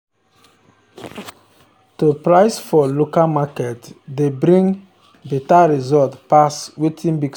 to price for local market dey bring better result pass wetin big stores dey bring.